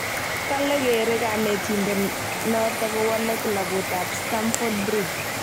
Kale gere kanetindet noto kowale klabuit ab Stamford Bridge